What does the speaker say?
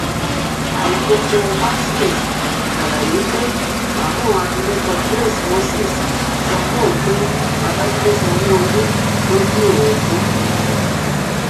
àìkópómartins ṣàlàyé pé màmá òun abilékọ grace moses sọ fóun pé babájídé sanwóolú lòún bí òun fún